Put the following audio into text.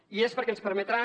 i és perquè ens permetrà